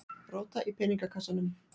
Róta í peningakassanum.